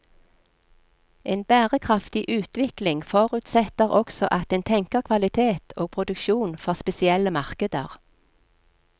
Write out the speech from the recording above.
En bærekraftig utvikling forutsetter også at en tenker kvalitet og produksjon for spesielle markeder.